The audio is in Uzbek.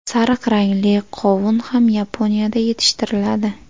Sariq rangli qovun ham Yaponiyada yetishtiriladi.